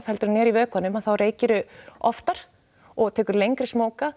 heldur en er í vökvanum að þá reykirðu oftar og tekur lengri